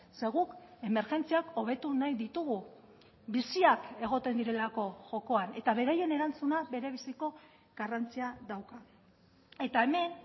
ze guk emergentziak hobetu nahi ditugu biziak egoten direlako jokoan eta beraien erantzuna berebiziko garrantzia dauka eta hemen